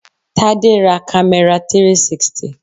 Tade ra camera 360.